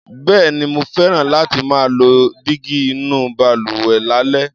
Bẹ́ẹ̀ni, mo fẹ́ràn láti máa lo dígí inú balùwẹ̀ lálẹ́.